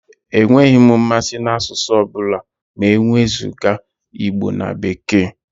Enweghị m mmasị n'asụsụ ọ bụla ma e wezụga Igbo na Bekee.